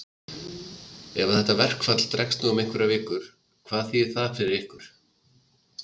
Ef að þetta verkfall dregst nú um einhverjar vikur, hvað þýðir það fyrir ykkur?